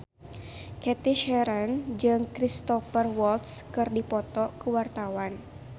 Cathy Sharon jeung Cristhoper Waltz keur dipoto ku wartawan